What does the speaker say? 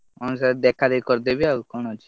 ହଁ sir ଦେଖାଦେଖି କରିଦେବି ଆଉ କଣ ଅଛି।